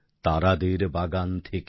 তারাদের বাগান থেকে